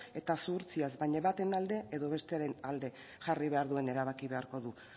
eta zuhurtziaz baina baten alde edo bestearen alde jarri behar duen erabaki beharko du